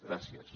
gràcies